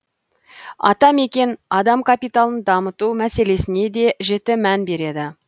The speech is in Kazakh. атамекен адам капиталын дамыту мәселесіне де жіті мән береді